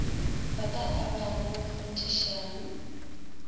ba ka a abago kgonthišang